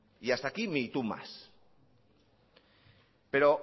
y hasta aquí mi tú más pero